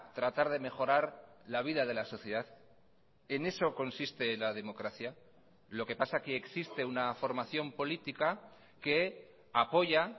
tratar de mejorar la vida de la sociedad en eso consiste la democracia lo que pasa que existe una formación política que apoya